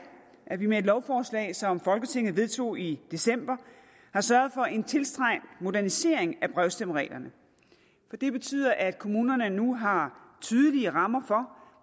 at vi med et lovforslag som folketinget vedtog i december har sørget for en tiltrængt modernisering af brevstemmereglerne det betyder at kommunerne nu har tydelige rammer for